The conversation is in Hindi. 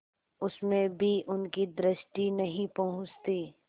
उसमें भी उनकी दृष्टि नहीं पहुँचती